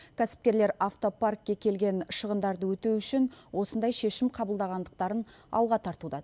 кәсіпкерлер автопаркке келген шығындарды өтеу үшін осындай шешім қабылдағандықтарын алға тартуда